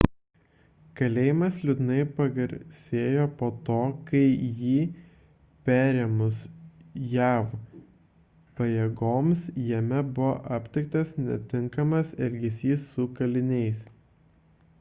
kalėjimas liūdnai pagarsėjo po to kai jį perėmus jav pajėgoms jame buvo aptiktas netinkamas elgesys su kaliniais